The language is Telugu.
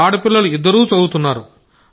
ఆడపిల్లలు ఇద్దరూ చదువుతున్నారు